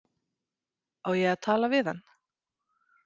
Á ég að tala við hann?